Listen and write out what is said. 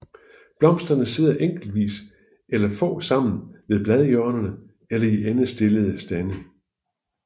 Blomsterne sidder enkeltvis eller få sammen ved bladhjørnerne eller i endestillede stande